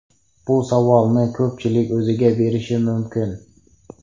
Bu savolni ko‘pchilik o‘ziga berishi mumkin.